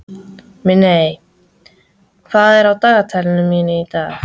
Minney, hvað er í dagatalinu mínu í dag?